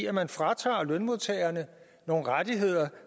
at man fratager lønmodtagerne nogle rettigheder